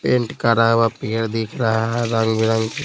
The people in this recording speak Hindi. पेंट करा हुआ पेयर दिख रहा है रंग बिरंग --